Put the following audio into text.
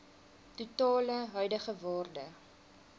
totale huidige waarde